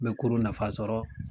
N bɛ kurun nafa sɔrɔ